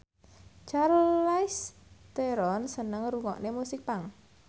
Charlize Theron seneng ngrungokne musik punk